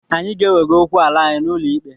Anyị ga-ewega okwu ala anyị n'ụlọ ikpe.